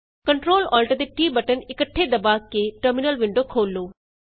Ctrl Alt ਅਤੇ T button ਇੱਕਠੇ ਦਬਾ ਕੇ ਟਰਮਿਨਲ ਵਿੰਡੋ ਖੋਲ੍ਹੋ